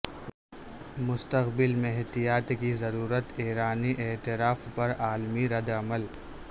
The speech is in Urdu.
مستقبل میں احتیاط کی ضرورت ایرانی اعتراف پر عالمی ردعمل